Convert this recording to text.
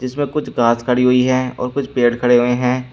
जिसमें कुछ घास खड़ी हुई है और कुछ पेड़ खड़े हुए हैं।